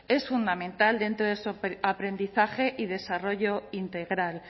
es fundamental dentro de su aprendizaje y desarrollo integral